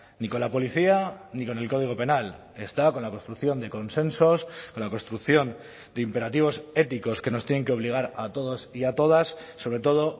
ni con la policía ni con el código penal está con la construcción de consensos con la construcción de imperativos éticos que nos tienen que obligar a todos y a todas sobre todo